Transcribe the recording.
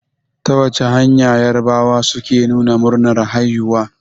Ta wace hanya yarabawa suke nuna murnar haihuwa?